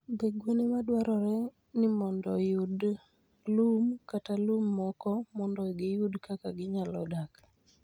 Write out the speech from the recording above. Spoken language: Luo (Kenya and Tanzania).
Be gwen e ma dwarore ni oyud lum kata lum moko mondo giyud kaka ginyalo dak?